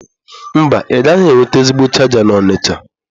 Mba, ịgaghị enweta ezigbo chaja n'Onitsha.